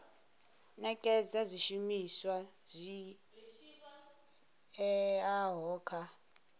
nekedza zwishumiswa zwi oeaho kha